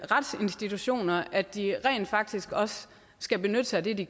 retsinstitutioner at de rent faktisk også skal benytte sig af det de